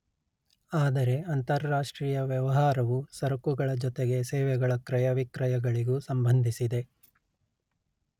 ಆದರೆ ಅಂತರಾಷ್ಟ್ರೀಯ ವ್ಯವಹಾರವು ಸರಕುಗಳ ಜೊತೆಗೆ ಸೇವೆಗಳ ಕ್ರಯ ವಿಕ್ರಯಗಳಿಗೂ ಸಂಬಂಧಿಸಿದೆ